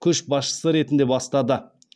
көшбасшысы ретінде бастады